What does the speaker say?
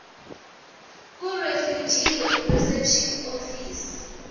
kurefugee reception office